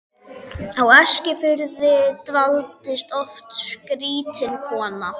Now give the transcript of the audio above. Á Eskifirði dvaldist oft skrýtin kona.